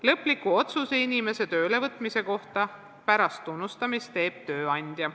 Lõpliku otsuse inimese töölevõtmise kohta pärast tunnustamist teeb tööandja.